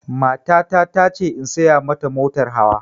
Matata ta ce in saya ma ta motar hawa